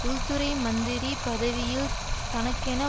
உள்துறை மந்திரி பதவியில் தனக்கென